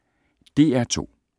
DR2